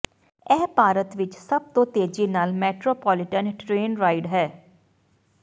ਇਹ ਭਾਰਤ ਵਿਚ ਸਭ ਤੋਂ ਤੇਜ਼ੀ ਨਾਲ ਮੈਟਰੋ ਪੋਲੀਟਨ ਟਰੇਨ ਰਾਈਡ ਹੈ